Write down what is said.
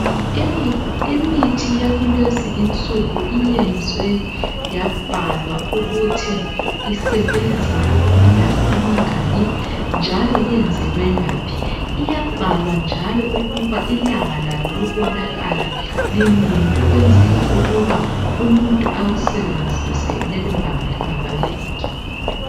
Imithi yakulezi insuku iyenziwe yabhalwa ukuthi isebenza okwamalanga amangaki njalo iyenzelwe ngaphi. Iyabhalwa njalo ukuba ilanga lalo lokonakala linini ukwenzela ukuba umuntu awusebenzise lelolanga lingakafiki.